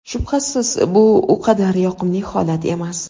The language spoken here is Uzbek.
Shubhasiz bu u qadar yoqimli holat emas.